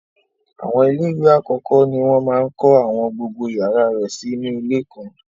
Àwọn ilé ìwé àkọ́kọ́ ni wọ́n máa ń kọ́ àwọn gbogbo yàrá rẹ̀ sí inú ilé kan.